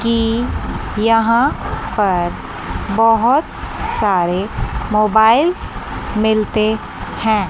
कि यहां पर बहुत सारे मोबाइल्स मिलते हैं।